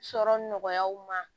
Sɔrɔ nɔgɔyaw ma